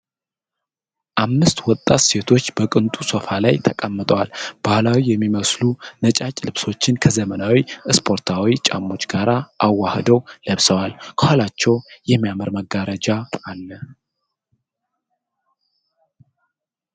አምስት ወጣት ሴቶች በቅንጡ ሶፋ ላይ ተቀምጠዋል። ባህላዊ የሚመስሉ ነጫጭ ልብሶችን ከዘመናዊ ስፖርታዊ ጫማዎች ጋር አዋህደው ለብሰዋል። ከኋላቸው የሚያምር መጋረጃ አለ።